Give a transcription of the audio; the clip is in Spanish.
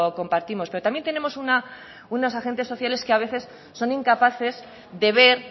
compartimos pero también tenemos unas agentes sociales que a veces son incapaces de ver